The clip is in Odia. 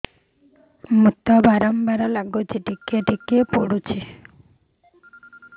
ମୁତ ବାର୍ ବାର୍ ଲାଗୁଚି ଟିକେ ଟିକେ ପୁଡୁଚି